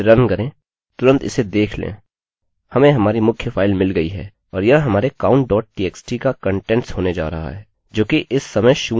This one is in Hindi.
हमें हमारी मुख्य फाइल मिल गयी है और यह हमारे counttxt का कंटेंट्स होने जा रहा है जोकि इस समय शून्य है